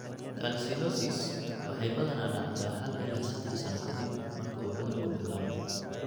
Calcinosis waxay badanaa dhacdaa hal ilaa sedaax sano ka dib marka uu cudurku bilaabmo.